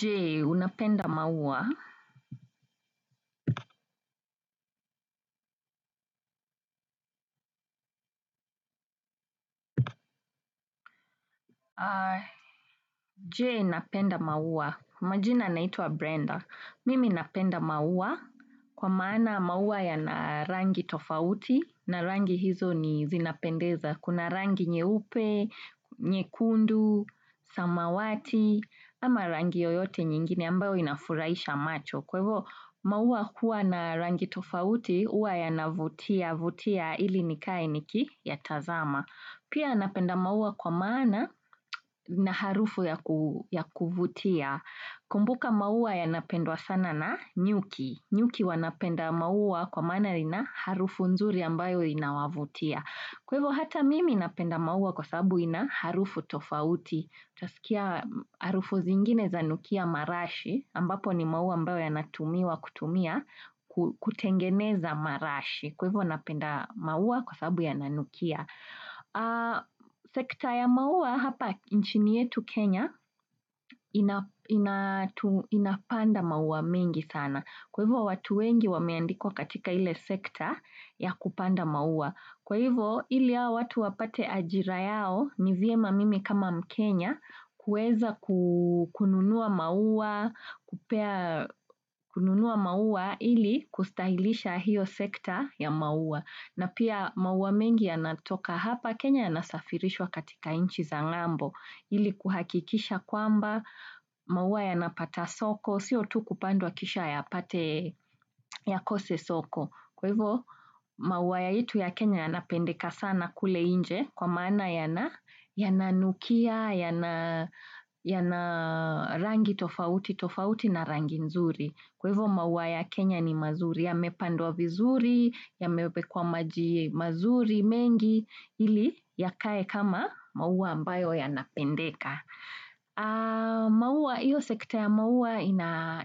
Je unapenda maua. Je napenda maua. Majina naitwa Brenda. Mimi napenda maua kwa maana maua yana rangi tofauti na rangi hizo ni zinapendeza. Kuna rangi nyeupe, nyeykundu, samawati ama rangi oyote nyingine ambayo inafurahisha macho. Kwa hivo, maua huwa na rangi tofauti, huwa yanavutiavutia ili nikae nikiyatazama. Pia napenda maua kwa maana na harufu ya kuvutia. Kumbuka maua yanapendwa sana na nyuki. Nyuki wanapenda maua kwa maana ina harufu nzuri ambayo inawavutia. Kwa hivo, hata mimi napenda maua kwa sababu ina harufu tofauti. Twasikia harufu zingine zanukia marashi ambapo ni maua ambayo yanatumiwa kutumia kutengeneza marashi kwa hivyo napenda maua kwa sababu yananukia sekta ya maua hapa nchini yetu Kenya inapanda maua mengi sana kwa hivyo watu wengi wameandikwa katika ile sekta ya kupanda maua kwa hivyo hawa watu wapate ajira yao ni vyema mimi kama mkenya kueza kununua maua ili kustahilisha hiyo sekta ya maua na pia maua mengi yanatoka hapa Kenya yanasafirishwa katika nchi za ngambo ili kuhakikisha kwamba maua yanapata soko siyo tu kupandwa kisha yapate yakose soko kwa hivo maua yetu ya Kenya yanapendeka sana kule nje kwa maana yana yananukia, yana rangi tofauti, tofauti na rangi nzuri. Kwa hivyo maua ya Kenya ni mazuri, yamepandwa vizuri, yamewekwa maji mazuri mengi, ili yakae kama maua ambayo yanapendeka. Iyo sekta ya maua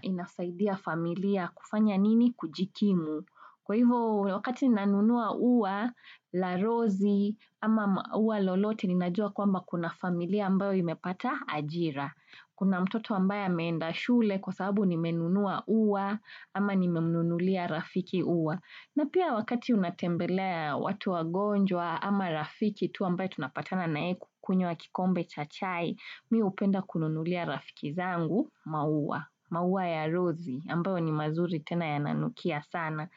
inasaidia familia kufanya nini kujikimu. Kwa hivyo wakati nanunua ua, la rozi, ama ua lolote, ninajua kwamba kuna familia ambayo imepata ajira. Kuna mtoto ambaye ameenda shule kwa sababu nimenunua ua, ama nimemnunulia rafiki ua. Na pia wakati unatembelea watu wagonjwa, ama rafiki tu ambaye tunapatana na yeye kukunywa kikombe cha chai, mimi hupenda kununulia rafiki zangu, maua, maua ya rozi, ambayo ni mazuri tena yananukia sana.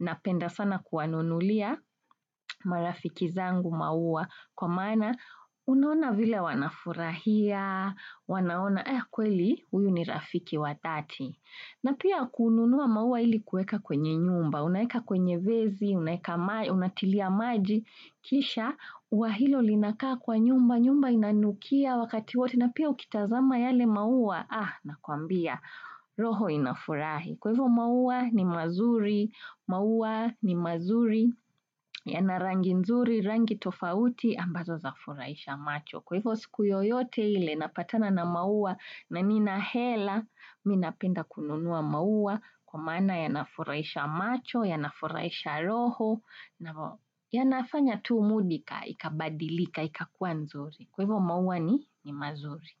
Napenda sana kuwanunulia marafiki zangu maua kwa maana unaona vile wanafurahia, wanaona eh kweli huyu ni rafiki wa dhati. Na pia kununua maua ili kueka kwenye nyumba, unaeka kwenye vezi, unaeka maji, unatilia maji, kisha ua hilo linakaa kwa nyumba, nyumba inanukia wakati wote na pia ukitazama yale maua ah nakuambia roho inafurahi. Kwa hivo maua ni mazuri, maua ni mazuri, yana rangi nzuri, rangi tofauti ambazo za furahisha macho. Kwa hivo siku yoyote ile napatana na maua na nina hela, mimi napenda kununua maua kwa maana yanafurahisha macho, yana furahisha roho, yanafanya tu mudi ika ikabadilika, ikakua nzuri. Kwevo mauwa ni mazuri.